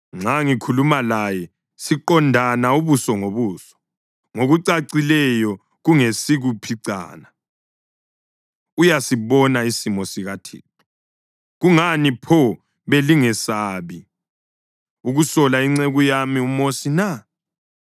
Nxa ngikhuluma laye siqondana ubuso ngobuso, ngokucacileyo kungesikuphicana; uyasibona isimo sikaThixo. Kungani pho belingesabi ukusola inceku yami uMosi na?”